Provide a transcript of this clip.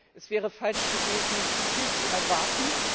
Es wäre falsch gewesen, zu viel zu erwarten.